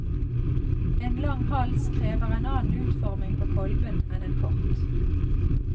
En lang hals krever en annen utforming på kolben enn en kort.